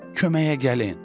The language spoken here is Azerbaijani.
Köməyə gəlin!